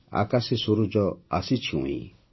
ଆକାଶେ ସୂରୁଜ ଆସିଛି ଉଇଁ